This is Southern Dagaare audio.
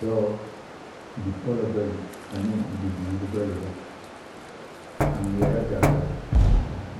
Dɔɔ bipɔlɔ bayi aneŋ bibiire bayi la a ngmɛɛrɛ gaŋgarre